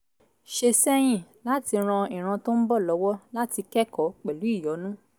ṣe sẹ́yìn láti ran ìran tó ń bọ̀ lọ́wọ́ láti kẹ́kọ̀ọ́ pẹ̀lú ìyọ́nú